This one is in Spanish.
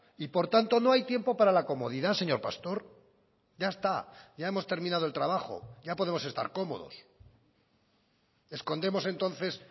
y por tanto no hay tiempo para la comodidad señor pastor ya está ya hemos terminado el trabajo ya podemos estar cómodos escondemos entonces